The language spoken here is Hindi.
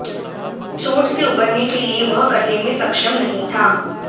चोट से उबरने के लिए वह करने में सक्षम नहीं था